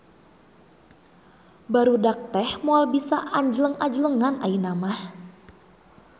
Barudak teh moal bisa anjleng-ajlengan ayeuna mah